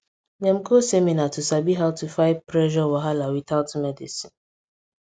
dem go seminar to sabi how to fight pressure wahala without medicine